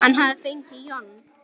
Hann hafði fengið John